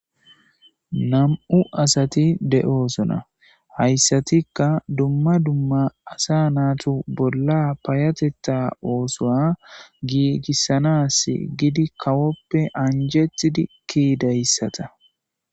Nam7u asati de7osona. Hayssatikka dumma dumma asa natu bolla payatetta oosuwa giigissanasi gidi kawoppe anjetidi ki7idayssata.